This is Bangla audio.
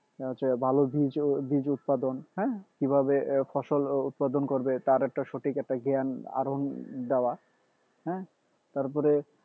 এই হচ্ছে ভালো বীজ বীজ উৎপাদন হ্যাঁ কিভাবে ফসল উৎপাদন করবে তার একটা সঠিক একটা জ্ঞ্যান দেওয়া হ্যাঁ তারপরে